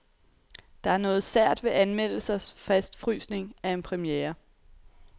Der er noget sært ved anmeldelsers fastfrysning af en premiere.